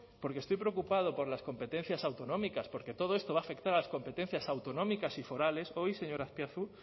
porque estoy preocupado por las competencias autonómicas porque todo esto va a afectar a las competencias autonómicas y forales hoy señor azpiazu